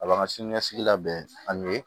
A b'an ka siniɲɛsigi labɛn ani